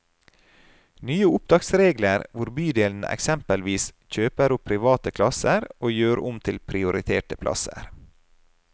Nye opptaksregler, hvor bydelen eksempelvis kjøper opp private plasser og gjør om til prioriterte plasser.